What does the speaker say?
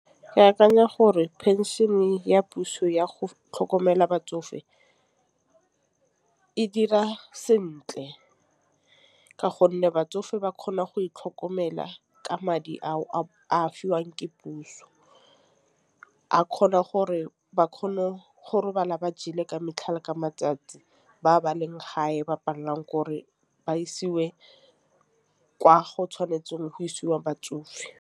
Ke akanya gore phenšene ya puso yago tlhokomela batsofe e dira sentle. Ka gonne batsofe ba kgona go itlhokomela ka madi ao a fiwang ke puso. A kgona gore ba kgone go robala ba jele ka metlha le ka matsatsi. Ba ba leng gae ba palelang ke gore ba isiwe kwa go tshwanetseng go isiwa batsofe.